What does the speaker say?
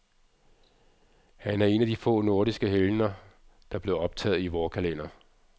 Han er en af de få nordiske helgener, der blev optaget i vor kalender.